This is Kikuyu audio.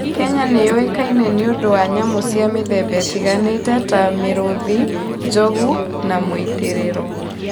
Kenya nĩ yũĩkaine nĩ ũndũ wa nyamũ cia mĩthemba ĩtiganĩte ta mĩrũũthi, njogu, na mũitĩrĩro.